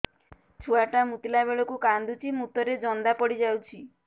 ଛୁଆ ଟା ମୁତିଲା ବେଳକୁ କାନ୍ଦୁଚି ମୁତ ରେ ଜନ୍ଦା ପଡ଼ି ଯାଉଛି